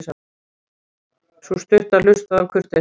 Sú stutta hlustaði af kurteisi.